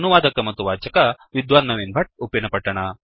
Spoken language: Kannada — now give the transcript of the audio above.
ಅನುವಾದಕ ಮತ್ತು ವಾಚಕ ವಿದ್ವಾನ್ ನವೀನ್ ಭಟ್ಟ ಉಪ್ಪಿನಪಟ್ಟಣ